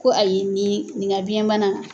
Ko ayi nin nin ka biyɛnbana